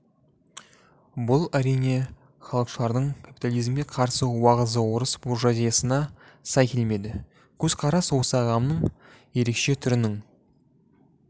бұл әрине халықшылдардың капитализмге қарсы уағызы орыс буржуазиясына сай келмеді көзқарас осы ағымның ерекше түрінің